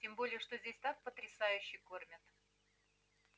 тем более что здесь так потрясающе кормят